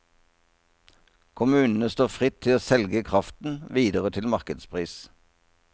Kommunene står fritt til å selge kraften videre til markedspris.